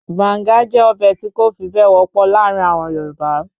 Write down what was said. Banga jẹ́ ọbẹ̀ tí kò fi bẹ́ẹ̀ wọ́pọ̀ láàrin àwọn Yorùbá